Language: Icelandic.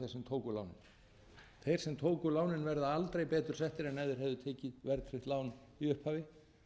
tóku lánið þeir sem tóku lánin verða aldrei betur settir en ef þeir hefðu tekið verðtryggt lán í upphafi